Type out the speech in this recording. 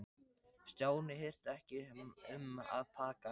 Stjáni hirti ekki um að taka hann upp.